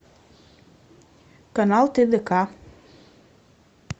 канал тдк